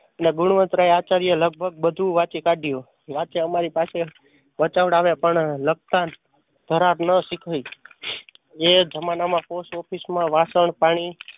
અને ગુણવતરાય આચાર્ય લગભગ બધું વાંચી કાઢ્યું. બાકી અમારી પાસે વંચવડાવે પણ લખતા ઘરાહાર ન શીખવી. એ જમાના માં પોસ્ટઓફિશમાં વાશન, પાણી